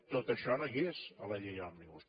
tot això no hi és a la llei òmnibus